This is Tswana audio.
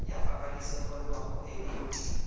ya pabalesego loago e e